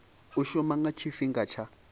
u shuma nga tshifhinga tsha